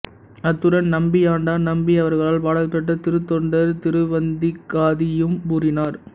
அத்துடன் நம்பியாண்டார் நம்பி அவர்களால் பாடல்பெற்ற திருத்தொண்டர் திருவந்தாதியையும் கூறினார்